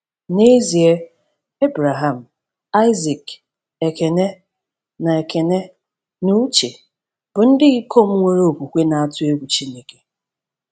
N’ezie, Ebreham, Aịzik, Ekene, na Ekene, na Uche bụ ndị ikom nwere okwukwe na-atụ egwu Chineke.